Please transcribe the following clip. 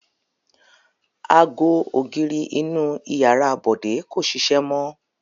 Ago ògiri inú ìyàrá Bọ̀dé kò ṣiṣẹ́ mọ́.